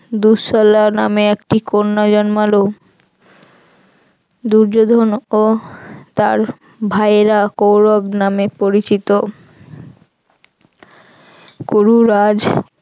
দুঃশলা নামে একটি কন্যা জন্মালো দুর্যোধন ও তার ভাইরা কৌরব নামে পরিচিত।